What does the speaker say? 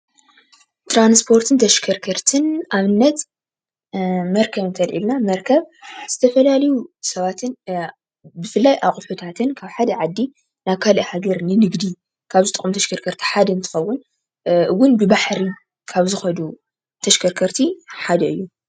ትራንስፖርትን ተሽከርከርትን ኣብነት መርከብ እንተልዒልና መርከብ ዝተፈላለዩ ሰባትን ብፍላይ ኣቑሑታትን ካብ ሓደ ዓዲ ናብ ካሊእ ሃገር ንንግዲ ካብ ዝጠቕሙ ተሽከርከርቲ ሓደ እንትኸውን ውን ብባሓሪ ካብ ዝከዱ ተሽከርከርቲ ሓደ እዩ።